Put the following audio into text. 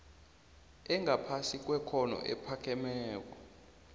engaphasi kwekhotho ephakemeko